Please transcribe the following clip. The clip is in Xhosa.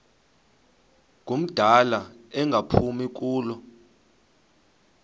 ngumdala engaphumi kulo